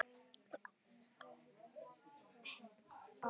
Ávallt hlý.